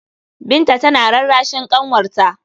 Binta tana rarrashin ƙanwarta.